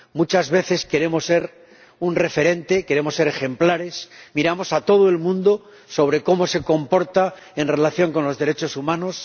Muchas veces queremos ser un referente, queremos ser ejemplares, miramos a todo el mundo para ver cómo se comporta en relación con los derechos humanos.